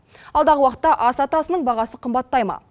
алдағы уақытта ас атасының бағасы қымбаттай ма